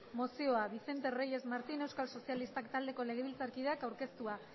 mozioa vicente reyes martín euskal sozialistak taldeko legebiltzarkideak aurkeztua